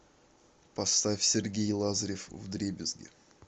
поставь сергей лазарев вдребезги